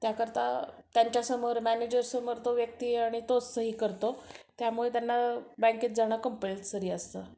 त्याकरता त्यांच्या समोर मॅनेजर समोर तो व्यक्ती आणि तोच सही करतो, त्यामुळे त्यांना बँकेत जाणं कंपलसरी असतं.